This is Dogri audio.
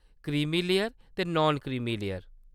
क्रीमी लेयर ते नान क्रीमी लेयर।